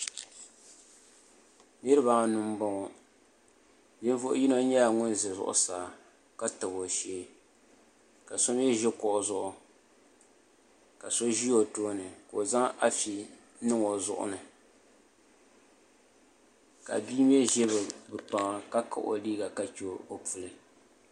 Niraba anu n boŋo ninvuɣu yino nyɛla ŋun ʒɛ zuɣusaa ka tabi o shee ka so mii ʒi kuɣu zuɣu ka so ʒi o tooni ka o zaŋ afi n niŋ o zuɣu ni ka bia mii ʒɛ bi kpaŋa ka kahi o liiga ka chɛ o puli